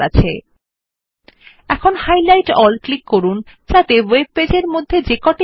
now click on highlight all to highlight all the instance of the word video in the webpage